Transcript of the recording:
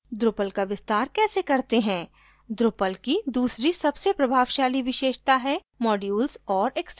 drupal का विस्तार कैसे करते हैं drupal की दूसरी सबसे प्रभावशाली विशेषता है modules or extensions